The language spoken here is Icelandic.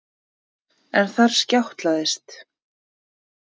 En þar skjátlaðist